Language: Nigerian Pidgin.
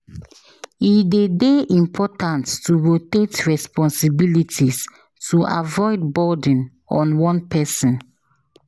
E dey dey important to rotate responsibilities to avoid burden on one person.